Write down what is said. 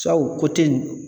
o in